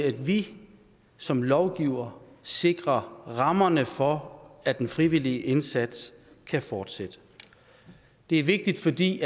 at vi som lovgivere sikrer rammerne for at den frivillige indsats kan fortsætte det er vigtigt fordi